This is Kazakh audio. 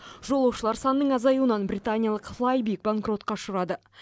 жолаушылар санының азаюынан британиялық флайби банкротқа ұшырады